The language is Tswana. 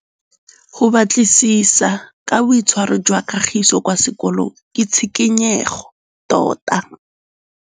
Go batlisisa ka boitshwaro jwa Kagiso kwa sekolong ke tshikinyêgô tota.